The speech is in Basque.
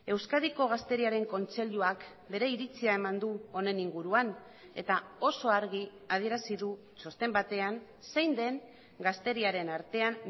euskadiko gazteriaren kontseiluak bere iritzia eman du honen inguruan eta oso argi adierazi du txosten batean zein den gazteriaren artean